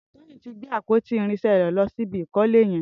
Toyin ti gbé àpótí irinṣẹ̀ rẹ lọ̀si ibi ikọ̀lé yèn